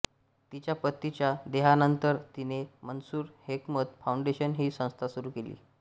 तिच्या पतीच्या देहांतानंतर तिने मन्सूर हेकमत फाऊनडेशन ही संस्था सुरू केली